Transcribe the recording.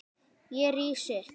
Ég rís upp.